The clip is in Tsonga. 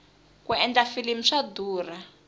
ku endla filimi swa durha